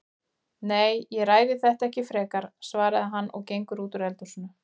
Nei, ég ræði þetta ekki frekar, svarar hann og gengur út úr eldhúsinu.